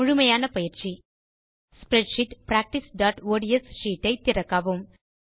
முழுமையான பயிற்சி ஸ்ப்ரெட்ஷீட் practiceஒட்ஸ் ஷீட் ஐ திறக்கவும்